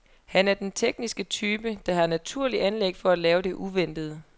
Han er den tekniske type, der har naturlige anlæg for at lave det uventede.